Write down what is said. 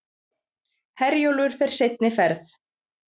Herjólfur fer seinni ferð